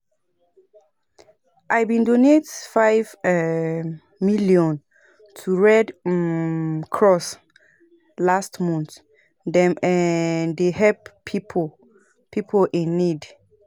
I bin donate five um million to Red um Cross last month, dem um dey help pipo pipo in need.